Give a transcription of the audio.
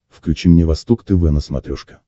включи мне восток тв на смотрешке